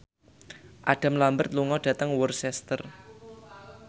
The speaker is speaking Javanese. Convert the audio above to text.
Adam Lambert lunga dhateng Worcester